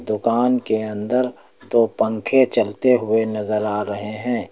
दुकान के अंदर दो पंखे चलते हुए नजर आ रहे हैं।